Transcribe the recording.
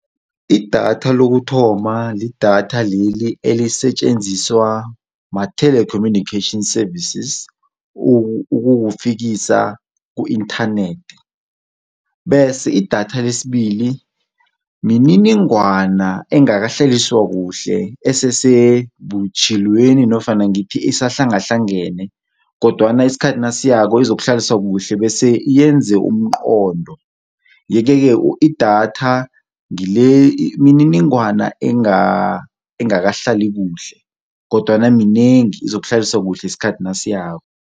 Idatha lokuthoma lidatha leli elisetjenziswa ma-telecommunication services ukukufikisa ku-inthanethi, bese idatha lesibili mininingwana engakahlaliswa kuhle esesebutjhilweni nofana ngithi isahlangahlangene kodwana isikhathi nasiyako izokuhlaliswa kuhle bese yenze umqondo iye-ke ke idatha mininingwana engakahlali kuhle kodwana minengi izokuhlaliswa kuhle isikhathi nasiyako.